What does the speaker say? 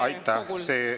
Aitäh!